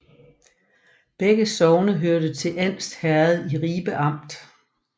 Begge sogne hørte til Andst Herred i Ribe Amt